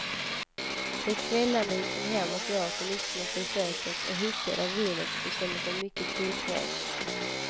De kvällarna gick hon hem och åt en ostmacka i köket, och hickade av vinet och kände sig mycket tillfreds.